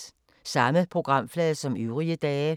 Samme programflade som øvrige dage